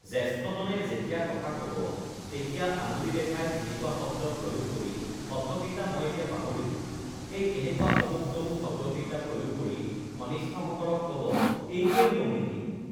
জ্যেষ্ঠজনে যেতিয়া কথা ক'ব তেতিয়া আঙুলি দেখাই এনেকুৱা শব্দ প্ৰয়োগ কৰি শব্দকেইটা মই এতিয়া পাহৰিলোঁ এই এনেকুৱা অমুক তমুক শব্দকেইটা প্ৰয়োগ কৰি কনিষ্ঠসকলক ক'ব এইটোৱেই নিয়ম নেকি